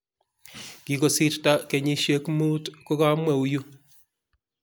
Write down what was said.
Kigosirto kenyishiek muut kogamweu yuu